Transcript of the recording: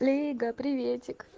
лига приветик